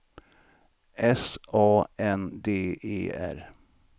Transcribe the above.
S A N D E R